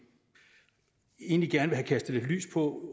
egentlig gerne vil have kastet lidt lys på